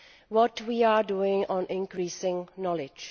What are we doing on increasing knowledge?